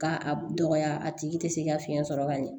K'a a dɔgɔya a tigi te se ka fiɲɛ sɔrɔ ka ɲɛ